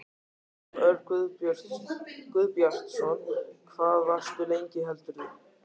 Jón Örn Guðbjartsson: Hvað varstu lengi heldurðu?